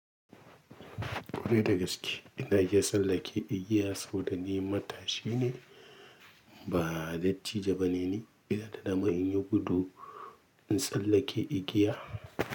Ƙwarai da gaske ina iya tsallake igiya saboda ni matashi ne ba dattijo ba ne ni. Ina da dama in yi gudu in tsallake igiya.